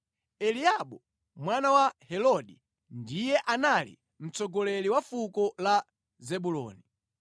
Eliabu mwana wa Heloni ndiye anali mtsogoleri wa fuko la Zebuloni.